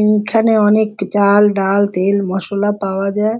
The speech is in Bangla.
এখানে অনেক চাল ডাল তেল মসলা পাওয়া যায়।